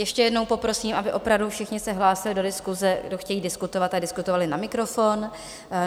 Ještě jednou poprosím, aby opravdu všichni se hlásili do diskuse, kdo chtějí diskutovat, aby diskutovali na mikrofon.